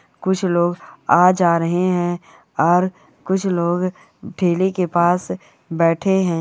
कुछ लोग आ जा रहे हैं और कुछ लोग ठेली के पास बैठे हैं।